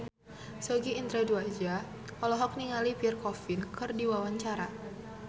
Sogi Indra Duaja olohok ningali Pierre Coffin keur diwawancara